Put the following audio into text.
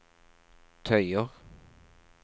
tøyer